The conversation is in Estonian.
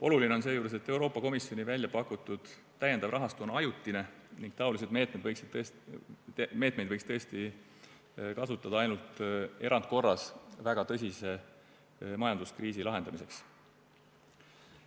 Oluline on seejuures, et Euroopa Komisjoni väljapakutud täiendav rahastu on ajutine ning taolisi meetmeid võiks tõesti kasutada ainult erandkorras, väga tõsise majanduskriisi lahendamiseks.